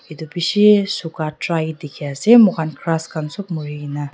edu bishi suka dry dikhiase moikhan grass khan sop murikaena.